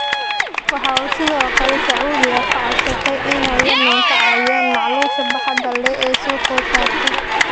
Waxa uu sidoo kale Sacuudiga ka codsaday inay Yemen ka caawiyaan macluusha baaxadda leh ee soo food saartay.